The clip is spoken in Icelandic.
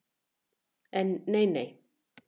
En nei, nei.